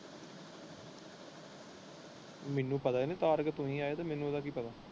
ਮੈਨੂੰ ਪਤਾ ਜੀ ਕਾਰ ਵਿੱਚ ਕਿਵੇਂ ਆਏਗੀ ਮੈਨੂੰ ਉਹਦਾ ਕਿ ਪਤਾ।